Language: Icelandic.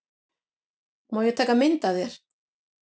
Má ég taka mynd af þér?